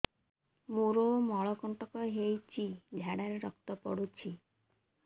ମୋରୋ ମଳକଣ୍ଟକ ହେଇଚି ଝାଡ଼ାରେ ରକ୍ତ ପଡୁଛି